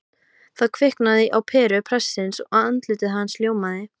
Það kviknar á peru prestsins og andlit hans ljómar